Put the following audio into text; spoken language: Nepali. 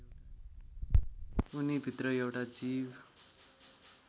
उनीभित्र एउटा जीव